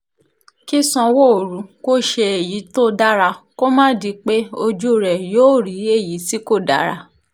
kí sanwóoru ṣe èyí tó dára kó má di pé ojú rẹ yóò rí èyí tí kò dára